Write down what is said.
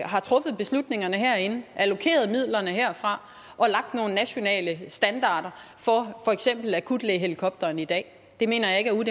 har truffet beslutningerne herinde allokeret midlerne herfra og lagt nogle nationale standarder for for eksempel akutlægehelikopteren i dag det mener jeg ikke er